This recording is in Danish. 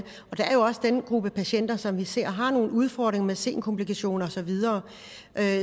er jo også den gruppe patienter som vi ser har nogle udfordringer med senkomplikationer og så videre